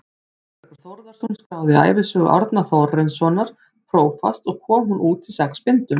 Þórbergur Þórðarson skráði ævisögu Árna Þórarinssonar prófasts og kom hún út í sex bindum.